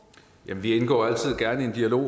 elever